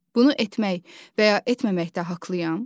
Bunu etmək və ya etməməkdə haqqlıyam?